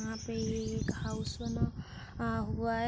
यहां पे ये एक हाउस बना आ हुआ है।